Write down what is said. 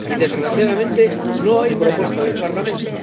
Y, desgraciadamente, no hay propuesta del Parlamento.